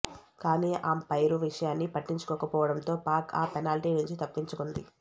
కానీ అంపైరు విషయాని పట్టించుకోకపోవడంతో పాక్ ఆ పెనాల్టీ నుంచి తప్పించుకుంది